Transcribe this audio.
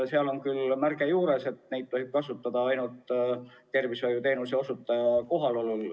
Neil on küll juures märge, et neid tohib kasutada ainult tervishoiuteenuse osutaja kohalolekul.